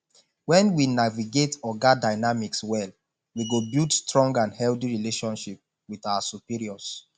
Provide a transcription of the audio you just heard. when we navigate oga dynamics well we go build strong and healthy relationships with our superiors